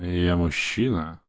и я мужчина